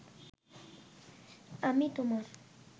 আমি তোমার